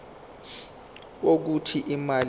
wokuthi imali kumele